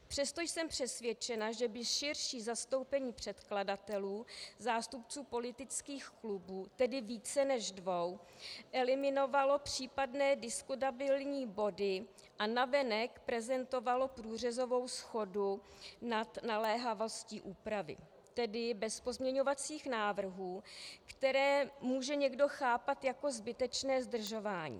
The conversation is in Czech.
Přesto jsem přesvědčena, že by širší zastoupení předkladatelů, zástupců politických klubů, tedy více než dvou, eliminovalo případné diskutabilní body a navenek prezentovalo průřezovou shodu nad naléhavostí úpravy, tedy bez pozměňovacích návrhů, které může někdo chápat jako zbytečné zdržování.